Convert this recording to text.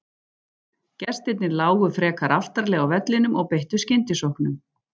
Gestirnir lágu frekar aftarlega á vellinum og beittu skyndisóknum.